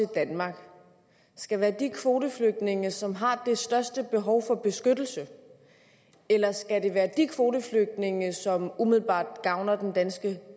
danmark skal være de kvoteflygtninge som har det største behov for beskyttelse eller skal det være de kvoteflygtninge som umiddelbart gavner den danske